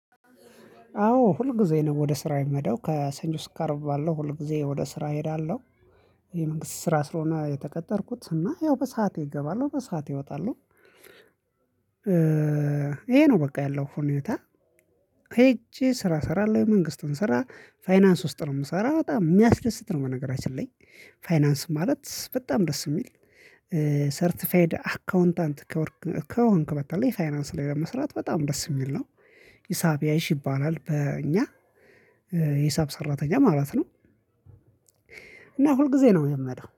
አዎ ሁል ጊዜ ነው ወደ ስራ የምሄደው ከሰኞ እስከ አርብ ባለው ሁል ጊዜ ወደ ስራ እሄዳለሁ። የመንግስት ስራ ስለሆነ የተቀጠርኩት እና ያው በሰአቴ እገባለሁ በሰአቴ እወጣለሁ። ይሄ ነው በቃ ያለው ሁኔታ። ሄጄ ስራ እሰራለሁ የመንግስትን ስራ ፋይናንስ ውስጥ ነው የምሰራው በጣም የሚያስደስት ነው። በነገራችን ላይ ፋይናንስ ማለት በጣም ደስ የሚል ሰርቲፋይድ አካውንታንት ከሆንክ በተለይ ፋይናንስ ላይ ለመስራት በጣም ደስ የሚል ነው። ሂሳብ ያይሽ ይባላል በእኛ የሂሳብ ሰራተኛ ማለት ነው። እና ሁልጊዜ ነው የምሄደው